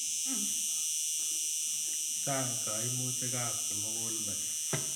Chang' kaimutik ap kimukulmet